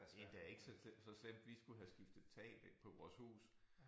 Det endda ikke så slemt så slemt vi skulle have skiftet tag på vores hus